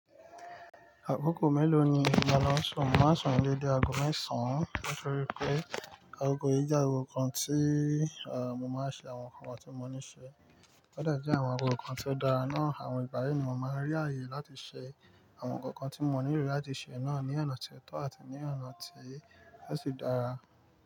Àkókò mélòó ni mo máà sùn? Mo máa ń sùn dédé ago mẹ́sàn án nítorí pé àkókò yìí jẹ́ àkókò kan tí, à, mo máa ń ṣe àwọn nǹkan tí mo níṣe. Ode je àwọn àkókò kan tó dára náà, àwọn ìgbà yìí ni mo máa ń rí ààyè láti ṣe àwọn ǹkan kan tí mo ní lo láti ṣe náà ní ọ̀nà tó tọ́ àti ní ọ̀nà tí yóò sì dára.